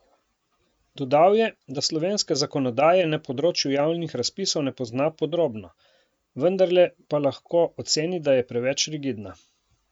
Dodal je, da slovenske zakonodaje na področju javnih razpisov ne pozna podrobno, vendarle pa lahko oceni, da je preveč rigidna.